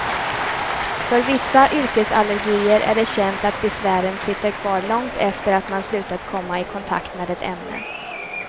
För vissa yrkesallergier är det känt att besvären sitter kvar långt efter att man slutat komma i kontakt med ett ämne.